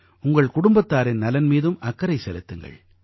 உங்கள் குடும்பத்தாரின் நலன் மீதும் அக்கறை செலுத்துங்கள்